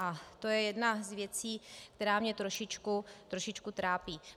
A to je jedna z věcí, která mě trošičku trápí.